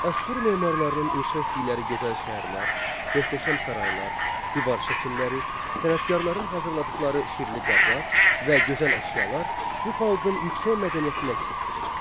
Assur memarlarının inşa etdikləri gözəl şəhərlər, möhtəşəm saraylar, divar şəkilləri, sənətkarların hazırladıqları şirli qablar və gözəl əşyalar bu xalqın yüksək mədəniyyətinə əks etdirir.